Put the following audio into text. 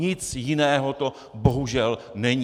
Nic jiného to bohužel není.